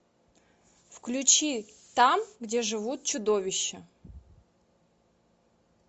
включи там где живут чудовища